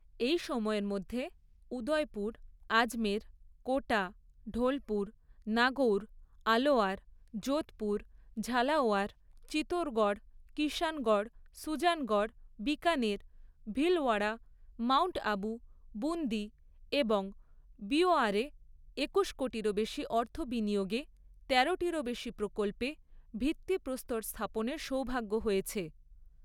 এই সময়ের মধ্যে উদয়পুর, আজমের, কোটা, ঢোলপুর, নাগৌর, আলোয়ার, যোধপুর, ঝালাওয়ার, চিতোরগড়, কিষাণগড়, সুজানগড়, বিকানের, ভীলওয়াড়া, মাউন্ট আবু, বুন্দি এবং বীওয়ারে একুশ কোটিরও বেশি অর্থ বিনিয়োগে তেরোটিরও বেশি প্রকল্পে ভিত্তিপ্রস্তর স্থাপনের সৌভাগ্য হয়েছে।